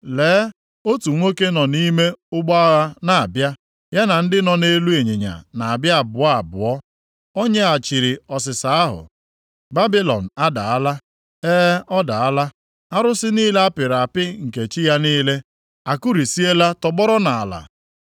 Lee, otu nwoke nọ nʼime ụgbọ agha na-abịa, ya na ndị nọ nʼelu ịnyịnya na-abịa abụọ abụọ. O nyeghachiri ọsịsa ahụ, ‘Babilọn adaala, e ọ daala, arụsị niile apịrị apị nke chi ya niile a kurisiela tọgbọrọ nʼala.’ ”